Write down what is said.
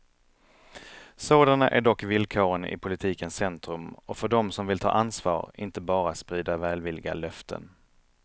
Sådana är dock villkoren i politikens centrum och för dem som vill ta ansvar, inte bara sprida välvilliga löften.